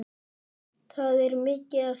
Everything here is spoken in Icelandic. Það er mikið að gera.